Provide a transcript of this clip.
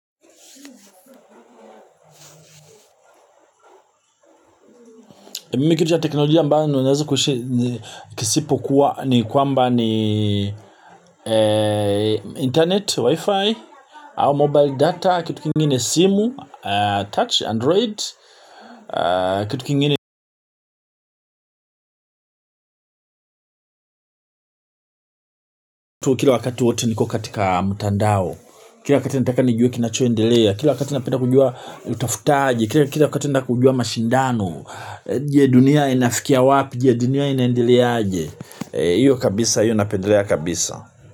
Mimi kitu ya teknolojia ambayo ninaweza kusema kisipo kuwa ni kuamba ni internet wifi au mobile data kitu kingine simu touch android kitu kingine kitu kila wakati wote niko katika mtandao, kila wakati nataka nijue kinachoendelea, kila wakati napenda kujua utafutaji, kila wakati napenda kujua mashindano, je dunia inafikia wapi, je dunia inaendeleaje. Iyo kabisa, iyo napendelea kabisa.